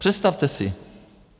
Představte si.